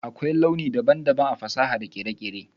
Akwai launi daban-daban a fasaha da kere-kere.